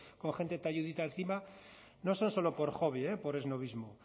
con gente talludita encima no son solo por hobby por esnobismo